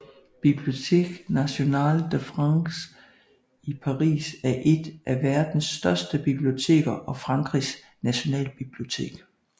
Bibliothèque nationale de France i Paris er et af verden største biblioteker og Frankrigs nationalbibliotek